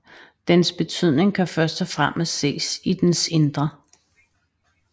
Dens betydning kan først og fremmest ses i dens indre